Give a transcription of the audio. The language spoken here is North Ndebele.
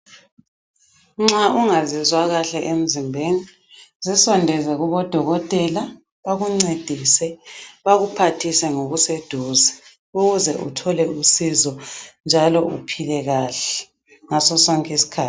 Nxa ungazizwa kahle emzimbeni zisondeze kubo dokotela bakuncedise bakuphathise ngokuseduze ukuze uthole usizo njalo uphile kahle ngaso sonke isikhathi.